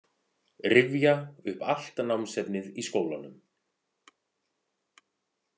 Rifja upp allt námsefnið í skólanum.